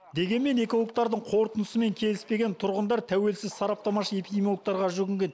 дегенмен экологтардың қорытындысымен келіспеген тұрғындар тәуелсіз сараптамашы эпидемиологтарға жүгінген